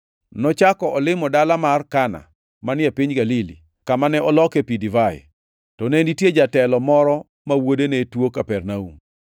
Nochako olimo dala mar Kana, manie piny Galili, kama ne oloke pi divai. To ne nitie jatelo moro ma wuode ne tuo Kapernaum.